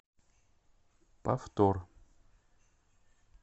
повтор